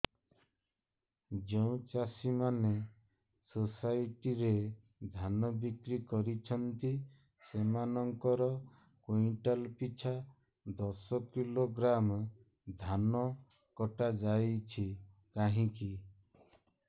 ଯେଉଁ ଚାଷୀ ମାନେ ସୋସାଇଟି ରେ ଧାନ ବିକ୍ରି କରୁଛନ୍ତି ସେମାନଙ୍କର କୁଇଣ୍ଟାଲ ପିଛା ଦଶ କିଲୋଗ୍ରାମ ଧାନ କଟା ଯାଉଛି କାହିଁକି